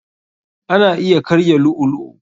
Ana iya karya lu'u lu'u.